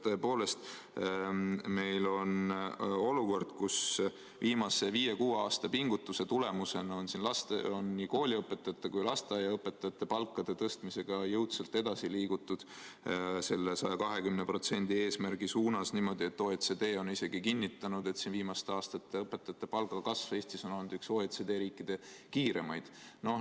Tõepoolest, meil on olukord, kus viimase viie-kuue aasta pingutuse tulemusena on nii kooliõpetajate kui ka lasteaiaõpetajate palga tõstmisega jõudsalt edasi liigutud selle 120% eesmärgi suunas, nii et OECD on isegi kinnitanud, et õpetajate viimaste aastate palgakasv Eestis on olnud üks OECD riikide kiiremaid.